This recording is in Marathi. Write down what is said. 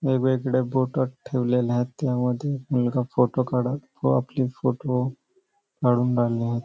वेग वेगळे ठेवलेले आहेत त्यामध्ये मुलगा फोटो काढत व आपली फोटो काढून राहिला आहे.